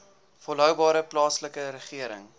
volhoubare plaaslike regering